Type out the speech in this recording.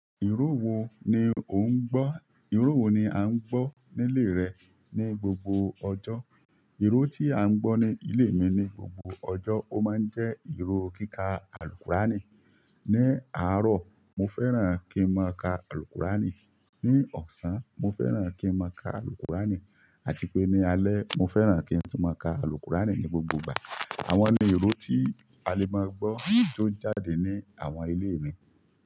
Ìró wo ni o ń gbọ́, ìró wo ni a ń gbọ́ nílé rẹ ní gbogbo ọjọ́? Ìró tí a ń gbọ́ ní ilé mi ní gbogbo ọjọ́, ó máa ń jẹ́ ìró kíkà Alqur'ani. Ni àárọ̀, mo fẹ́ràn kí n máa ka Alqur'ani. Ni ọ̀sán, mo fẹ́ràn kí n máa ka Alqur'ani àti pé ní alẹ́ mo fẹ́ràn kí n tun máa ka Alqur'ani ní gbogbo ìgbà. Àwọn ni ìró tí a lè máa gbọ́ tó ń jáde ní àwọn ilé mi.